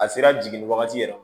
A sera jiginni wagati yɛrɛ